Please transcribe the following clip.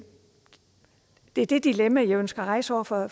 er det dilemma jeg ønsker at rejse over for